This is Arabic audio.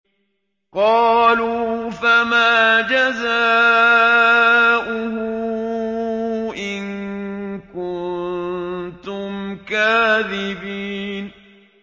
قَالُوا فَمَا جَزَاؤُهُ إِن كُنتُمْ كَاذِبِينَ